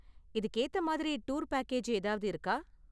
இதுக்கு ஏத்த மாதிரி டூர் பேக்கேஜ் ஏதாவது இருக்கா?